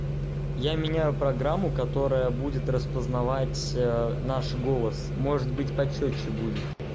я меняю программу которая будет распознавать наш голос может быть по чётче будет